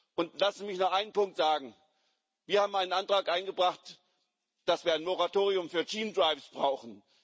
Und lassen Sie mich noch einen Punkt sagen Wir haben einen Antrag eingebracht, dass wir ein Moratorium für Gene Drives brauchen.